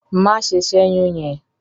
Má ṣe ṣẹ́yún yẹn!